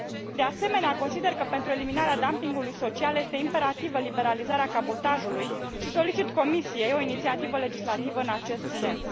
De asemenea, consider că pentru eliminarea dumpingului social este imperativă liberalizarea cabotajului și solicit Comisiei o inițiativă legislativă în acest sens.